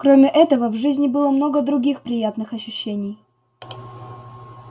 кроме этого в жизни было много других приятных ощущений